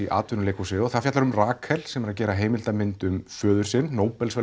í atvinnuleikhúsi og fjallar um Rakel sem er að gera heimildamynd um föður sinn